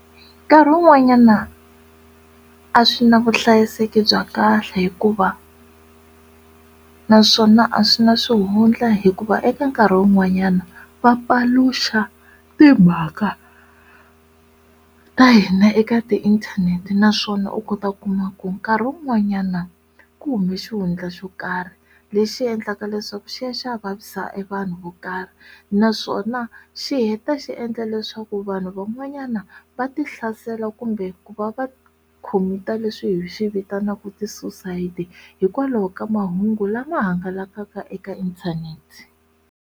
Nkarhi wun'wanyana a swi na vuhlayiseki bya kahle hikuva naswona a swi na swihundla hikuva eka nkarhi wun'wanyana va paluxa timhaka ta hina eka ti inthanete naswona u kota ku kuma ku nkarhi wun'wanyana ku hume xihundla xo karhi lexi endlaka leswaku xi ya xavisa evanhu vo karhi naswona xi heta xi endla leswaku vanhu van'wanyana va tihlasela kumbe ku va va commit-a leswi hi swi vitanaka ti suicide hikwalaho ka mahungu lama hangalakaka eka inthanete.